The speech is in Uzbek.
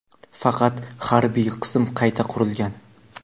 faqat harbiy qism qayta qurilgan.